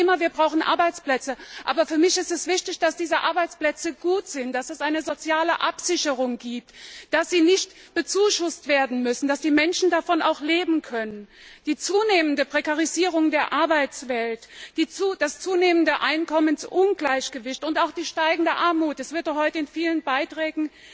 Wir sagen immer, wir brauchen Arbeitsplätze, aber für mich ist es wichtig, dass diese Arbeitsplätze gut sind, dass es eine soziale Absicherung gibt, dass sie nicht bezuschusst werden müssen, dass die Menschen davon auch leben können. Die zunehmende Prekarisierung der Arbeitswelt, das zunehmende Einkommensungleichgewicht und auch die wachsende Armut das wurde heute schon in vielen Beiträgen